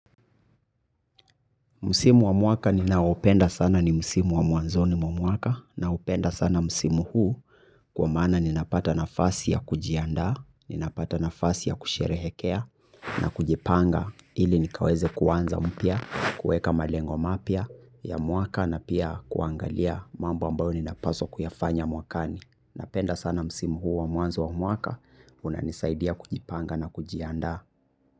Msimu wa mwaka ninaoupenda sana ni msimu wa mwanzoni mwa mwaka, naupenda sana msimu huu kwa maana ninapata nafasi ya kujiandaa, ninapata nafasi ya kusherehekea na kujipanga ili nikaweze kuanza mpya, kuweka malengo mapya ya mwaka na pia kuangalia mambo ambayo ninapaswa kuyafanya mwakani. Napenda sana musimu huu wa muanzo wa mwaka unanisaidia kujipanga na kujiandaa.